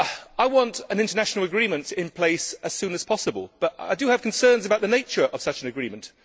I want an international agreement in place as soon as possible but I have concerns about the nature of such an agreement.